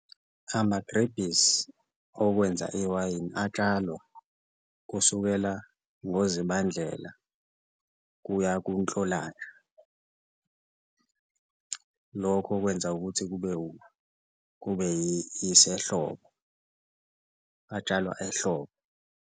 Amagrebhisi okwenza iwayini atshalwa kusukela ngoZibandlela kuya kuNhlolanja, lokho okwenza ukuthi kube kube isehlobo, atshalwa ehlobo.